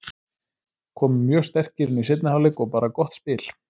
Komum mjög sterkir inn í seinni hálfleik og bara gott spil.